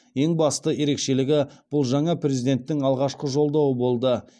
ең басты ерекшелігі бұл жаңа президенттің алғашқы жолдауы болды